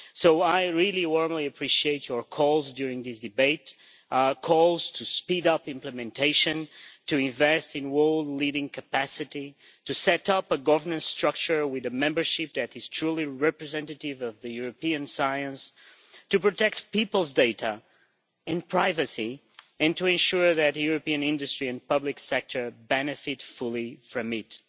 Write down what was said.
So I really warmly appreciate your calls during this debate to speed up implementation, to invest in a world-leading capacity, to set up a governance structure with a membership that is truly representative of European science, to protect people's data and privacy, and to ensure that European industry and the public sector benefit fully from it.